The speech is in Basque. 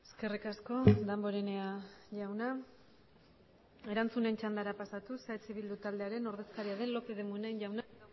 eskerrik asko damborenea jauna erantzunen txandara pasatuz eh bildu taldearen ordezkari den lopez de munain jaunak